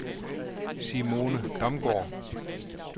Simone Damgaard